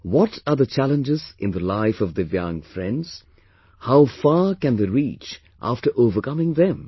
What are the challenges in the life of Divyang friends, how far can they reach after overcoming them